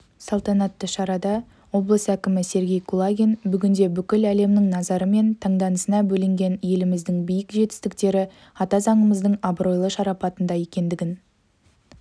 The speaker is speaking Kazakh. салтанатты шарада облыс әкімі сергей кулагин бүгінде бүкіл әлемнің назары мен таңданысына бөленген еліміздің биік жетістіктері ата заңымыздың абыройлы шарапатында екендігін